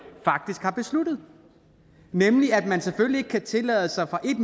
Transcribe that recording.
faktisk har besluttet nemlig at man selvfølgelig ikke kan tillade sig fra et